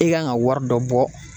I kan ka wari dɔ bɔ